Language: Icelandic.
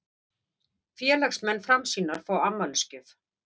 Félagsmenn Framsýnar fá afmælisgjöf